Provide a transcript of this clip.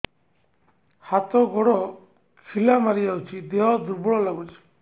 ହାତ ଗୋଡ ଖିଲା ମାରିଯାଉଛି ଦେହ ଦୁର୍ବଳ ଲାଗୁଚି